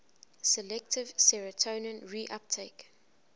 selective serotonin reuptake